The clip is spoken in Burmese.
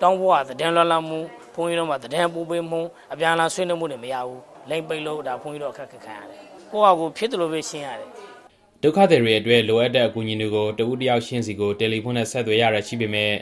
တောင်းဖို့ သတင်းပို့ပေးတာ၊ အပြန်အလှန်ဆွေးနွေးတာတို့ လုပ်လို့မရဘူး။ လိုင်းပိတ်ထားလို့ ဘုန်းကြီးတို့ အခက်အခဲကြုံရတယ်။ ကိုယ့်ဟာကိုယ်ပဲ ဖြစ်သလိုဖြေရှင်းရတယ်" ဒုက္ခသည်တွေအတွက် လိုအပ်တဲ့ အကူအညီတွေကို တစ်ဦးတစ်ယောက်ချင်းစီကို တယ်လီဖုန်းနဲ့ ဆက်သွယ်ရတာရှိပေမယ့်